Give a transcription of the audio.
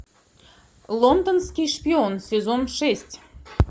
лондонский шпион сезон шесть